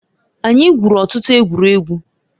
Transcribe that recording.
Anyị gwụrụ ọtụtụ egwuregwu